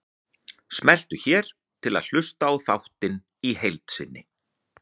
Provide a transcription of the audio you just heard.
Smelltu hér til að hlusta á þáttinn í heild sinni